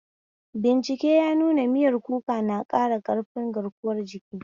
Bincike ya nuna miyar kuka na ƙara ƙarfin garkuwan jiki.